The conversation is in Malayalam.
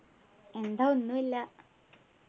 എന്താ ഒന്നു ഇല്ല